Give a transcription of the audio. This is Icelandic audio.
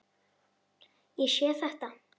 Ég sé þetta.